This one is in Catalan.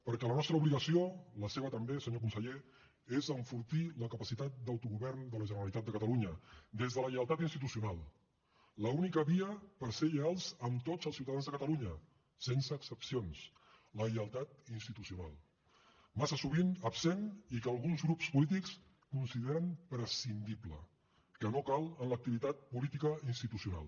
perquè la nostra obligació la seva també senyor conseller és enfortir la capacitat d’autogovern de la generalitat de catalunya des de la lleialtat institucional l’única via per ser lleials amb tots els ciutadans de catalunya sense excepcions la lleialtat institucional massa sovint absent i que alguns grup polítics consideren prescindible que no cal en l’activitat política i institucional